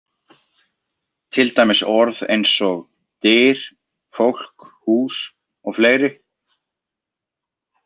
Til dæmis orð eins og: Dyr, fólk, hús og fleiri?